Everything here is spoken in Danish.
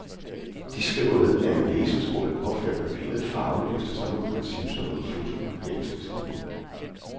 De skriver ved, at en laserstråle påfører papiret farve efter samme princip som en fotokopieringsmaskine.